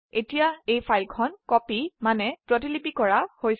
এতিয়া এই ফাইল প্ৰতিপিলি কৰা হৈছে